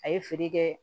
A ye feere kɛ